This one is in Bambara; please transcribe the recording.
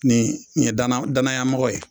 Nin ye dana danayamɔgɔ ye